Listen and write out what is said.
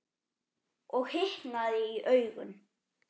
Og hitnaði í augum.